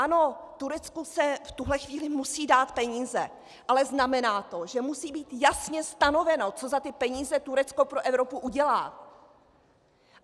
Ano, Turecku se v tuto chvíli musí dát peníze, ale znamená to, že musí být jasně stanoveno, co za ty peníze Turecko pro Evropu udělá.